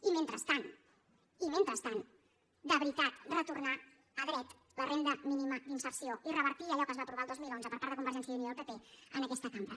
i mentrestant i mentrestant de veritat retornar a dret la renda mínima d’inserció i revertir allò que es va aprovar el dos mil onze per part de convergència i unió i el pp en aquesta cambra